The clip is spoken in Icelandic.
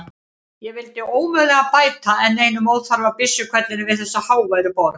Ég vilji ómögulega bæta enn einum óþarfa byssuhvellinum við þessa háværu borg.